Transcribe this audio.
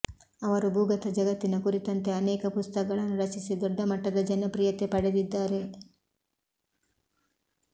ಅವರು ಭೂಗತ ಜಗತ್ತಿನ ಕುರಿತಂತೆ ಅನೇಕ ಪುಸ್ತಕಗಳನ್ನು ರಚಿಸಿ ದೊಡ್ಡ ಮಟ್ಟದ ಜನಪ್ರಿಯತೆ ಪಡೆದಿದ್ದಾರೆ